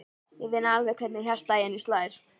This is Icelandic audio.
Ég finn alveg hvernig hjartað í henni slær.